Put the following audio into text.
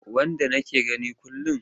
Wanda nake gani kullum.